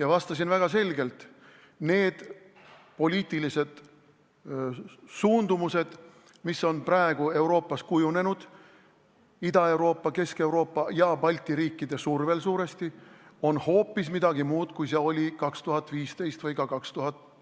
Ma vastasin väga selgelt: need poliitilised suundumused, mis on praegu Euroopas kujunenud, suuresti Ida-Euroopa, Kesk-Euroopa ja Balti riikide survel, on hoopis midagi muud, kui olid 2015 või ka,